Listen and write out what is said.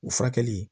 U furakɛli